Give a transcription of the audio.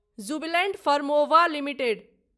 Jubilant Pharmova limited